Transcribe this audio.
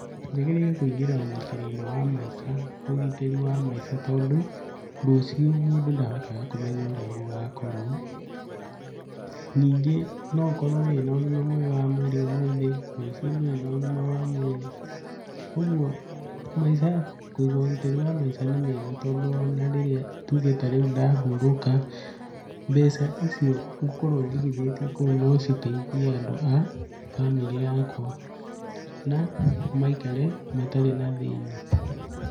Njagĩrĩire kũingĩra ũgitĩri-inĩ wa maica, ũgitĩri wa maica tondũ rũcio mũndũ ndahotaga kũmenya ũrĩa gũgakorwo, ningĩ no ũkorwo wĩ na ũgima mwega wa mwĩrĩ ũmũthĩ, rũcio ndũrĩ na ũgima wa mwĩrĩ, ũguo maica, kũiga ũgitĩri wa maica nĩ mĩega tondũ ona rĩrĩa tuge tarĩu ndahurũka, mbeca icio ngũkorwo njigithĩtie kũu no citeithie andũ a bamĩrĩ yakwa na maikare matarĩ na thĩna.